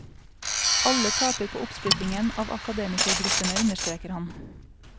Alle taper på oppsplittingen av akademikergruppene, understreker han.